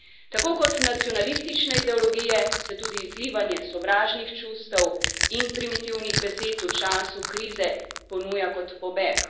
Tako kot nacionalistične ideologije se tudi izlivanje sovražnih čustev in primitivnih besed v času krize ponuja kot pobeg.